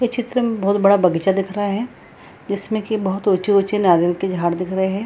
ये चित्र में बहुत बड़ा बगीचा दिख रहा है जिसमें कि बहुत ऊँचे-ऊँचे नारियल के झाड़ दिख रहे हैं।